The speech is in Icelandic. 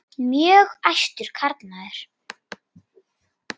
Mjög æstur karlmaður.